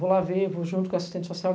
Vou lá ver, vou junto com assistente social.